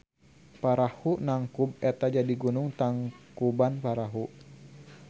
Parahu nangkub eta jadi gunung Tangkubanparahu.